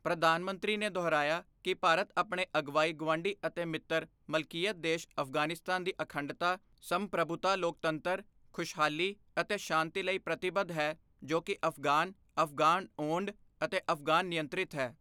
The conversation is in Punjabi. ਪ੍ਰਧਾਨ ਮੰਤਰੀ ਨੇ ਦੁਹਰਾਇਆ ਕਿ ਭਾਰਤ ਆਪਣੇ ਅਗਵਾਈ ਗੁਆਂਢੀ ਅਤੇ ਮਿੱਤਰ ਮਲਕੀਅਤ ਦੇਸ਼ ਅਫ਼ਗਾਨਿਸਤਾਨ ਦੀ ਅਖੰਡਤਾ, ਸੰਪ੍ਰਭੁਤਾ ਲੋਕਤੰਤਰ, ਖੁਸ਼ਹਾਲੀ ਅਤੇ ਸ਼ਾਂਤੀ ਲਈ ਪ੍ਰਤੀਬੱਧ ਹੈ ਜੋ ਕਿ ਅਫ਼ਗ਼ਾਨ, ਅਫ਼ਗ਼ਾਨ ਓੰਡ ਅਤੇ ਅਫ਼ਗ਼ਾਨ ਨਿਯੰਤ੍ਰਿਤ ਹੈ।